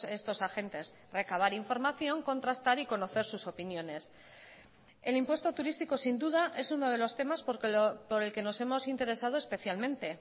estos agentes recabar información contrastar y conocer sus opiniones el impuesto turístico sin duda es uno de los temas por el que nos hemos interesado especialmente